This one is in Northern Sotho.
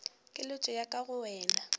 keletšo ya ka go wena